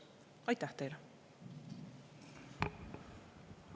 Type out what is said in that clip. Aitäh teile!